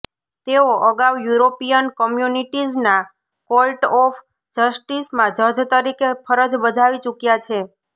તેઓ અગાઉ યુરોપીયન કોમ્યુનિટીઝના કોર્ટ ઓફ જસ્ટિસમાં જજ તરીકે ફરજ બજાવી ચૂક્યા છે